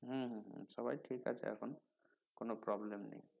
হম হম হম সবাই ঠিক আছে এখন কোনো problem নেই